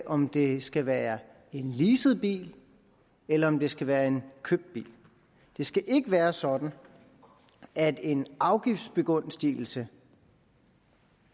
om det skal være en leaset bil eller om det skal være en købt bil det skal ikke være sådan at en afgiftsbegunstigelse